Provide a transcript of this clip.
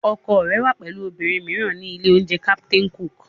Ọkọ rẹ wà pẹ̀lú obìnrin mìíràn ní ilé-oúnjẹ Captain Cook